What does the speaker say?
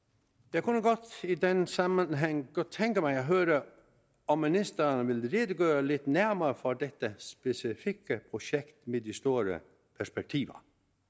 jeg kunne i den sammenhæng godt tænke mig at høre om ministeren vil redegøre lidt nærmere for dette specifikke projekt med de store perspektiver